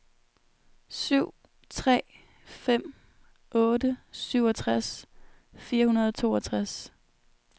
syv tre fem otte syvogtres fire hundrede og toogtres